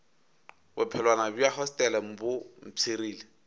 bophelwana bja hostele bo mpshirile